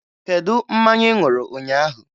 Kedu mmanya ị ṅụrụ ụnyaahụ?